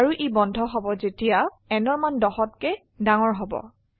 আৰু ই বন্ধ হব যেতিয়া nঅৰ মান 10হতকে ডাঙৰ হব